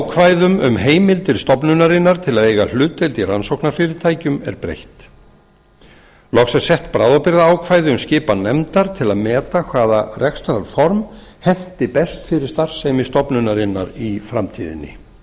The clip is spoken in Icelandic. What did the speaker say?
ákvæðum um heimild til stofnunarinnar til að eiga hlutdeild í rannsóknarfyrirtækjum er breytt loks er sett bráðabirgðaákvæði um skipan nefndar til að meta hvaða rekstrarform henti best fyrir starfsemi stofnunarinnar í framtíðinni